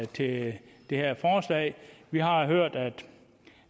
til det det her forslag vi har hørt